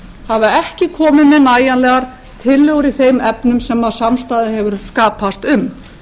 hafa ekki komið með nægjanlegar tillögur í þeim efnum sem samstaða hefur skapast um